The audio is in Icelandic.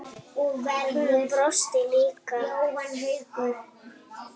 Hún brosti líka.